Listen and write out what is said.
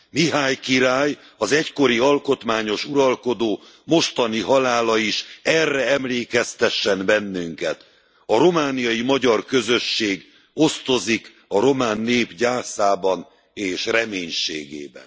Mihály király, az egykori alkotmányos uralkodó mostani halála is erre emlékeztessen bennünket! A romániai magyar közösség osztozik a román nép gyászában és reménységében.